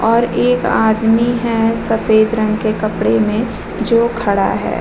और एक आदमी है सफ़ेद रंग के कपड़े में जो खड़ा है।